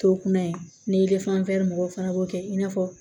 To kunna ye ni mɔgɔw fana b'o kɛ i n'a fɔ